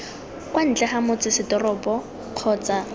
kwa ntle ga motsesetoropo kgotsa